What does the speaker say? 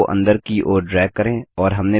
arrow को अंदर की ओर ड्रैग करें